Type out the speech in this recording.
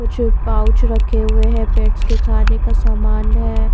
कुछ पाउच रखे हुए हैं पेट्स के खाने का समान है।